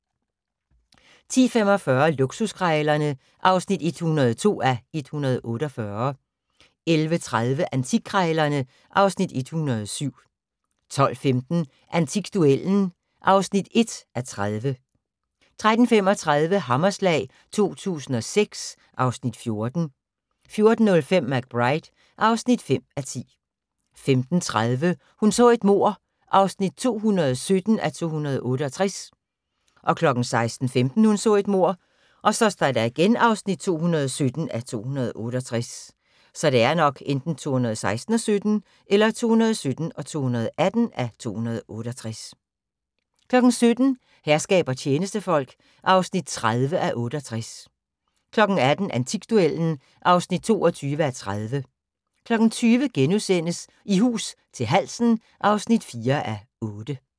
10:45: Luksuskrejlerne (102:148) 11:30: Antikkrejlerne (Afs. 107) 12:15: Antikduellen (1:30) 13:35: Hammerslag 2006 (Afs. 14) 14:05: McBride (5:10) 15:30: Hun så et mord (217:268) 16:15: Hun så et mord (217:268) 17:00: Herskab og tjenestefolk (30:68) 18:00: Antikduellen (22:30) 20:00: I hus til halsen (4:8)*